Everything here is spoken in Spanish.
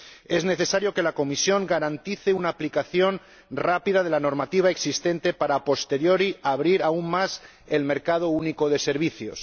Es necesario que la Comisión garantice una aplicación rápida de la normativa existente para, a posteriori, abrir aún más el mercado único de servicios.